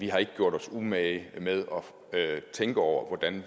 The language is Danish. har ikke gjort sig umage med at tænke over hvordan